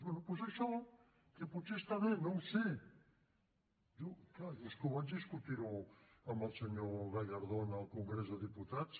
bé doncs això que potser està bé no ho sé jo és clar és que vaig discutir ho amb el senyor gallardón al congrés dels diputats